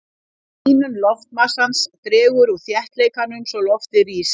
Hlýnun loftmassans dregur úr þéttleikanum svo loftið rís.